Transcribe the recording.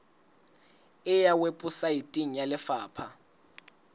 e ya weposaeteng ya lefapha